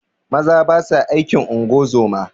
Maza basa aikin ungozoma